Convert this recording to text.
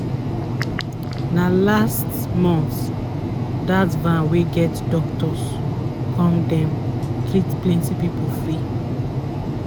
na last month dat van wey get doctors come dem treat plenty people free